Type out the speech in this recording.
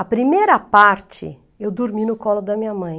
A primeira parte, eu dormi no colo da minha mãe.